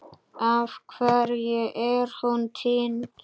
Af hverju er hún týnd?